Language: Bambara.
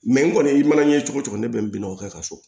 n kɔni i mana ɲɛ cogo o cogo ne bɛ n bina o kɛ ka so